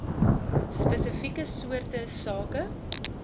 spesifieke soorte sake